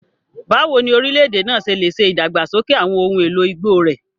Báwo ni orílẹ̀-èdè náà ṣe lè ṣe ìdàgbàsókè àwọn ohun èlò igbó rẹ̀?